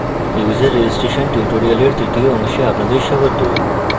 user registration tutorial তৃতীয় অংশে আপনাদের স্বাগত